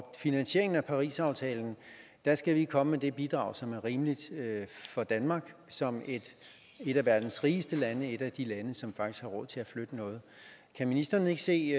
finansieringen af parisaftalen skal vi komme med det bidrag som er rimeligt for danmark som et af verdens rigeste lande et af de lande som faktisk har råd til at flytte noget kan ministeren ikke se